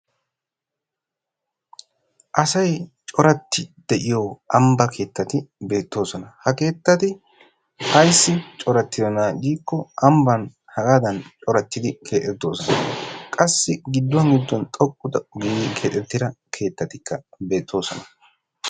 Asay coratti de'iyo ambba keettati beetosona. Ha keettati ayssi corattiyona giikko ambban hagaadan corattidi keexettoosona. Qassi gidduwan gidduwan xoqqu xoqqu giidi keexettida keettatikka beettoosona.